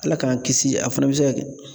Ala k'an kisi a fana bɛ se ka kɛ